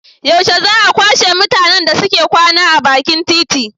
Yaushe za a kwashe mutanen da suke kwana a bakin titi?